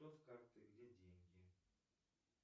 карты где деньги